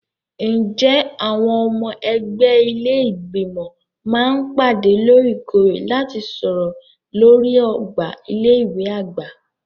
Ǹjẹ́ àwọn ọmọ ẹgbẹ́ ilé Ìgbìmọ̀ máa ń pàdé lóòrèkóòrè láti sọ̀rọ̀ lórí ọgbà ilé ìwé àgbà?